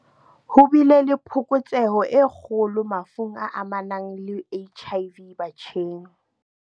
Ho bile le phokotseho e kgolo mafung a amanang le HIV batjheng.